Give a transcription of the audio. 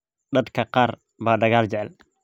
Dadka qaar baa dagaal jecel